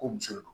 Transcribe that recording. Ko muso don